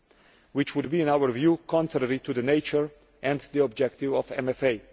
this would be, in our view, contrary to the nature and the objectives of MFA.